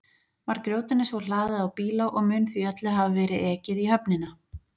Var grjótinu svo hlaðið á bíla og mun því öllu hafa verið ekið í höfnina.